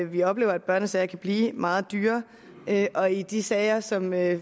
vi oplever at børnesager kan blive meget dyre og i de sager som jeg